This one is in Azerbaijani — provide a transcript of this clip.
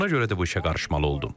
Buna görə də bu işə qarışmalı oldum.